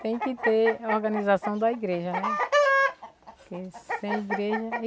Tem que ter a organização da igreja, né? Porque sem igreja